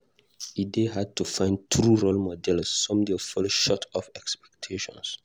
E dey hard to find true role models; some dey fall short of expectations.